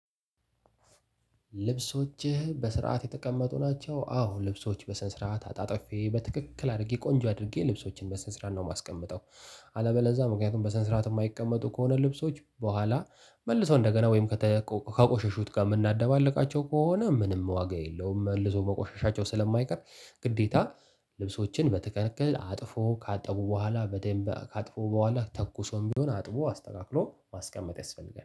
ልብሶችህ በስርዓት የተቀመጡ ናቸው? አዎ ልብሶች በስነ ስርዓት አጣጥፌ በትክክል አርጌ ቆንጆ አድርጌ ልብሶችን በስነ ስርዓት ነው ማስቀምጠው። አለበለዛ ምክንያቱም በስነ ስርዓት እማይቀመጡ ከሆነ ልብሶች በኋላ መልሰው እንደገና ወይም ከተቆ ከቆሸሹት ጋር ምናደባልቃቸው ከሆነ ምንም ዋጋ የለውም መልሰው መቆሸሻቸው ስለማይቀር። ግዴታ ልብሶችን በትክክል አጥፎ ካጠቡ በኋላ በደንብ ካጥፉ በኋላ ተኩሶም ቢሆን አጥቦ አስተካክሎ ማስቀመጥ ያስፈልጋል